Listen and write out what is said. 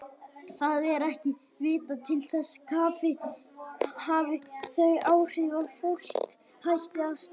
Það er ekki vitað til þess kaffi hafi þau áhrif að fólk hætti að stækka.